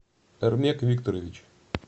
эрмек викторович